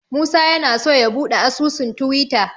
Musa yana so ya buɗe asusun Tiwita.